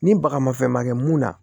Ni baga mafɛn ma kɛ mun na